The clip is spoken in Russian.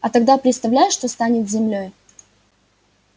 а тогда представляешь что станет с землёй